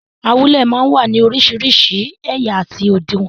Awúlẹ̀ máa ń wá ní orísìírísìí ẹ̀yà àti òdiwọ̀n.